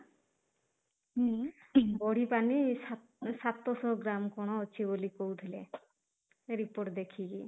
ହୁଁ ବଢି ପାରିନି ସାତ ଶହ ଗ୍ରାମ କଣ ଅଛି ବୋଲି କହୁଥିଲେ ରିପୋର୍ଟ ଦେଖିକି